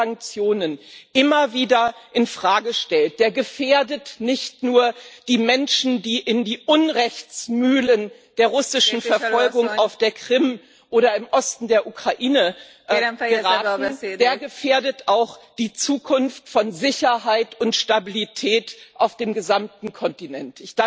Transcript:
Wer die Sanktionen immer wieder in Frage stellt, der gefährdet nicht nur die Menschen, die in die Unrechtsmühlen der russischen Verfolgung auf der Krim oder im Osten der Ukraine geraten, der gefährdet auch die Zukunft von Sicherheit und Stabilität auf dem gesamten Kontinent.